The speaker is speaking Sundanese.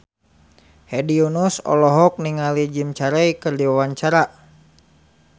Hedi Yunus olohok ningali Jim Carey keur diwawancara